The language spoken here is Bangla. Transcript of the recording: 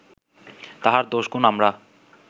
তাহার দোষ গুণ আমরা